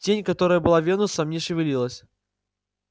тень которая была венусом не шевелилась